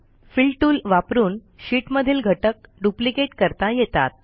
fill tool वापरून शीटमधील घटक डुप्लिकेट करता येतात